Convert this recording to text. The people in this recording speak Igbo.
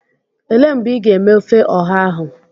Elee mgbe ị ga-eme ofe ọha ahụ?